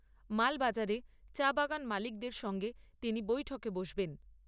মালবাজারে চা বাগান মালিকদের সঙ্গে তিনি বৈঠকে বসবেন।